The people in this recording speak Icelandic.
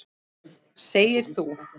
Segir þú.